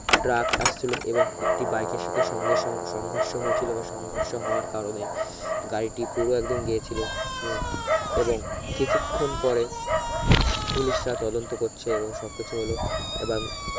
truck আসচ্ছিলো এবং একটি বাইকে সাথে সংঘর্ষ সংঘর্ষ হয়েছিলো বা সংঘর্ষ হওয়ার কারণে গাড়িটি পুরো একদন গিয়েছিলো এইও এবং কিছুক্ষন পরে পুলিশরা তদন্ত করছে সব কিছু হল এবার